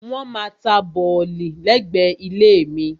Wọ́n maá ta bọ̀lì lẹ́gbẹ̀ẹ́ ilé mi.